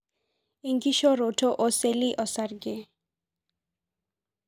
enkishoroto oseli osarge